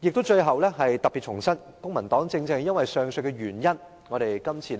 最後，我特別重申，公民黨正正因為上述原因，這次會投反對票。